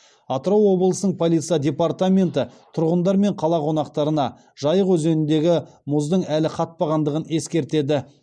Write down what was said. атырау облысының полиция департаменті тұрғындар мен қала қонақтарына жайық өзеніндегі мұздың әлі қатпағандығын ескертеді